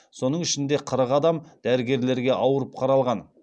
соның ішінде қырық адам дәрігерлерге ауырып қаралған